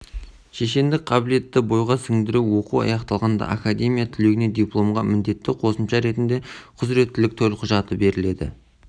шешендік қабілетті бойға сіңдіру оқу аяқталғанда академия түлегіне дипломға міндетті қосымша ретінде құзыреттілік төлқұжаты беріледі